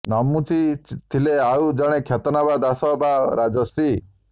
ନମୁଚି ଥିଲେ ଆଉ ଜଣେ ଖ୍ୟାତନାମା ଦାସ ବା ରାଜର୍ଷି